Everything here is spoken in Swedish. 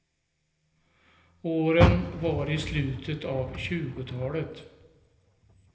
Åren var i slutet av tjugotalet.